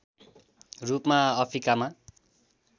रूपमा अफ्रिकामा